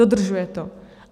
Dodržuje to.